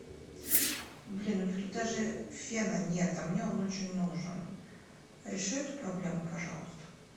блин у них тут даже фена нет а мне он очень нужен реши эту проблему пожалуйста